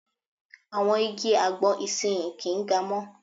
Àwọn igi àgbọn ìsinyii kì ń ga mọ́.